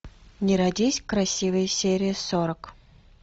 не родись красивой серия сорок